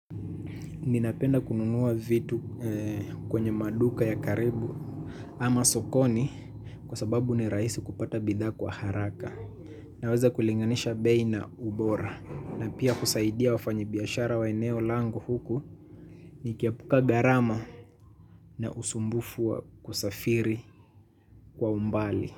Ninapenda kununua vitu kwenye maduka ya karibu ama sokoni kwa sababu ni raisi kupata bidhaa kwa haraka. Naweza kulinganisha bei na ubora. Na pia kusaidia wafanyi biashara wa eneo lango huku nikiepuka gharama na usumbufu wa kusafiri kwa umbali.